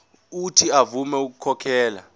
uuthi avume ukukhokhela